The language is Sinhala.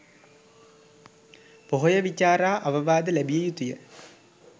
පොහොය විචාරා අවවාද ලැබිය යුතු ය.